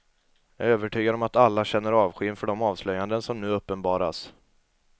Jag är övertygad om att alla känner avsky inför de avslöjanden som nu uppenbaras.